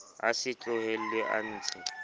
a se tlohellwe a ntshe